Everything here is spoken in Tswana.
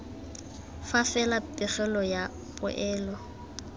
fa fela pegelo ya poelo